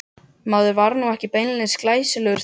Maður var nú ekki beinlínis glæsilegur þá.